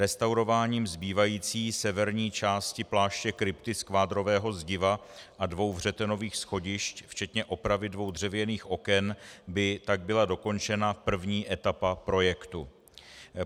Restaurováním zbývající severní části pláště krypty z kvádrového zdiva a dvou vřetenových schodišť včetně opravy dvou dřevěných oken by tak byla dokončena první etapa projektu.